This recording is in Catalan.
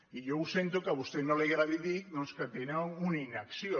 i jo ho sento que a vostè no li agradi dir doncs que tenen una inacció